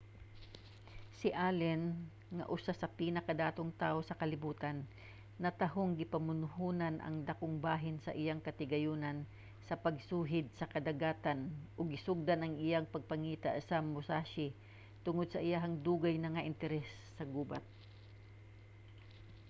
si allen nga usa sa pinakadatong tawo sa kalibutan natahong gipamuhonan ang dakong bahin sa iyang katigayunan sa pagsuhid sa kadagatan ug gisugdan ang iyang pagpangita sa musashi tungod sa iyahang dugay na nga interes sa gubat